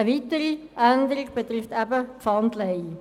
Eine weitere Änderung betrifft die Pfandleihe.